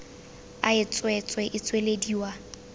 a e tswetswe e tswelediwa